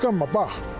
Qısqanma bax.